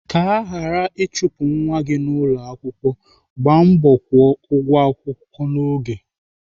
Ka aghara ịchụpụ nwa gị n'ụlọakwụkwọ, gbaa mbọ kwụọ ụgwọ n'oge.